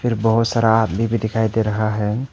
फिर बहुत सारा आदमी भी दिखाई दे रहा है।